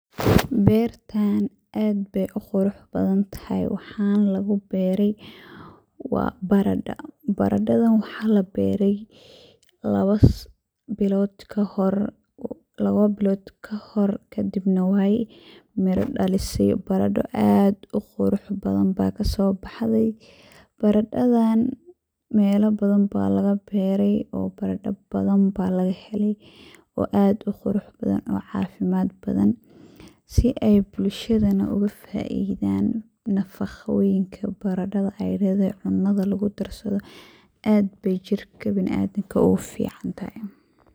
Bertan aad ayey uqurux badan tahay waxana luguberay baradho. Baradhadan waxa laberay lawo bilod kahor kadib wey miro dhalisey baradho aad uqurux badan aya kasobaxdey, baradhadan melo badan aya lagaberay oo barado badan ba lagahelay oo aad uqurux badan oo cafimad badan sii ey bulshadan ogafaidan nafaqoyinka baradhada ey ledahay cunada lugudarsado aad ayey jirka biniadanka ogufican tahay.